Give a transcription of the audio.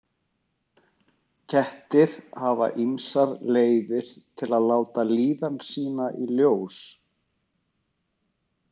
Kettir hafa ýmsar leiðir til að láta líðan sína í ljós.